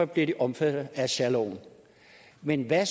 bliver omfattet af særloven men at